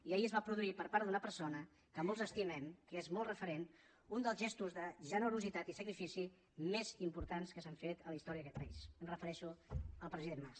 i ahir es va produir per part d’una persona que molts estimem que és molt referent un dels gestos de generositat i sacrifici més importants que s’han fet en la història d’aquest país em refereixo al president mas